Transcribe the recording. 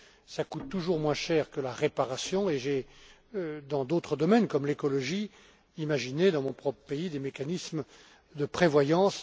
ça coûte toujours moins cher que la réparation et j'ai, dans d'autres domaines comme l'écologie, imaginé dans mon propre pays des mécanismes de prévoyance.